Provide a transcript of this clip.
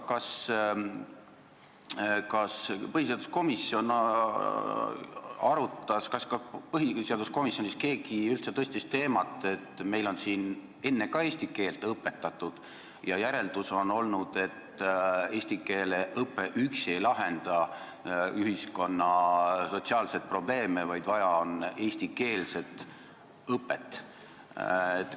Kas põhiseaduskomisjonis keegi üldse tõstatas teema, et meil on siin enne ka eesti keelt õpetatud ja järeldus on olnud selline: eesti keele õpe üksi ei lahenda ühiskonna sotsiaalset probleemi, vaja on eestikeelset õpet?